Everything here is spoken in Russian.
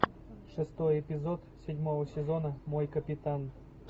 шестой эпизод седьмого сезона мой капитан